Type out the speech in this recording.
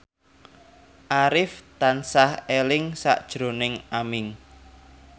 Arif tansah eling sakjroning Aming